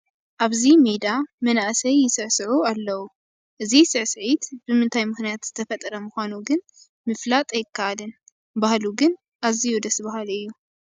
ኣብዚ ሜዳ መናእሰይ ይስዕስዑ ኣለዉ፡፡ እዚ ስዕስዒት ብምንታይ ምኽንያት ዝተፈጠረ ምዃኑ ግን ምፍላጥ ኣይከኣልን፡፡ ባህሉ ግን ኣዝዩ ደስ በሃሊ እዩ፡፡